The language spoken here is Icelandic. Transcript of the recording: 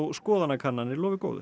skoðanakannanir lofi góðu